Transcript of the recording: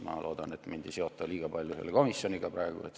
Ma loodan, et mind ei seota praegu liiga palju selle komisjoniga.